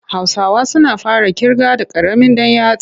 Hausawa suna fara ƙirga da ƙaramin ɗan yatsa.